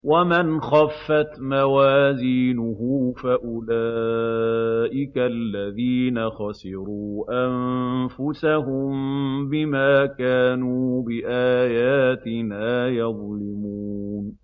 وَمَنْ خَفَّتْ مَوَازِينُهُ فَأُولَٰئِكَ الَّذِينَ خَسِرُوا أَنفُسَهُم بِمَا كَانُوا بِآيَاتِنَا يَظْلِمُونَ